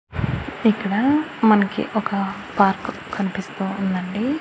ఇక్కడ మనకి ఒక పార్కు కన్పిస్తూ ఉందండి.